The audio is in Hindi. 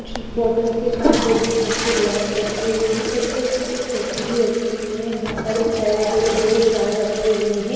बोतल के साथ दो-दो कांच के गिलास रखे हुए हैं और कुछ सिर्फ ऐसे ही रखी हुए हैं यहां पर एक बड़े-बड़े दो जार रखे हुए हैं.